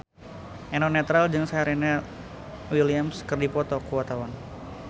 Eno Netral jeung Serena Williams keur dipoto ku wartawan